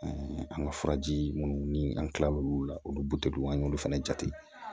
an ka furaji minnu ni an kila l'olu la olu butw an y'olu fana jate